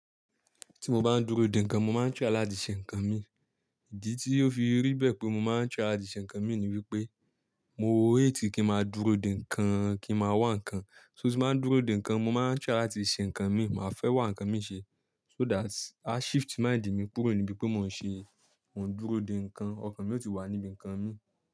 Tí mo bá ń dúró de ńǹkan mo máa ń try láti ṣe ǹkan mi. Ìdí tí ó fi rí bẹ́ẹ̀ pé mo máa ń try láti ṣe ǹkan mi ni wípé mo o hate kí ń máa dúró de ǹkan kí ń máa wá ǹkan. So tí mo bá ń dúró de ǹkan mo máa ń try láti ṣe ǹkan mi, màá fẹ́ wá ǹkan mi ṣe. So that I shift mind mi kúrò ní bí pé mò ń ṣe, mò ń dúró de ǹkan, ọ̀kan mi yóò ti wà níbí ǹkan mi.